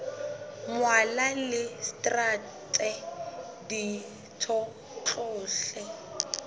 mmalwa le traste ditho tsohle